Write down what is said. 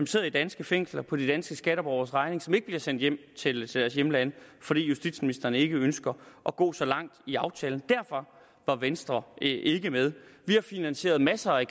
sidder i danske fængsler på de danske skatteborgeres regning som ikke bliver sendt hjem til deres hjemlande fordi justitsministeren ikke ønskede at gå så langt i aftalen derfor er venstre ikke med vi har finansieret masser af